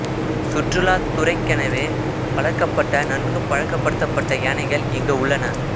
சுற்றுலாத் துறைக்கெனவே வளர்க்கப்பட்ட நன்கு பழக்கப் படுத்தப்பட்ட யானைகள் இங்கு உள்ளன